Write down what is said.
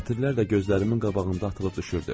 Sətirlər də gözlərimin qabağında atılıb düşürdü.